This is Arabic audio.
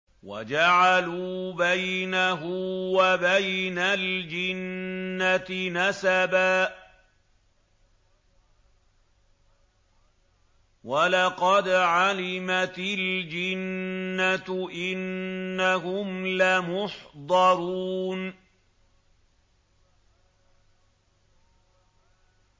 وَجَعَلُوا بَيْنَهُ وَبَيْنَ الْجِنَّةِ نَسَبًا ۚ وَلَقَدْ عَلِمَتِ الْجِنَّةُ إِنَّهُمْ لَمُحْضَرُونَ